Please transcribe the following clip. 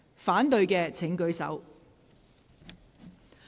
反對的請舉手。